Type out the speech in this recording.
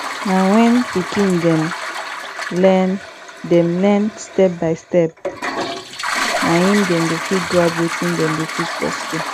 na wen pikin dem learn dem learn stepbystep na im dem go fit grab wetin dem dey teach for school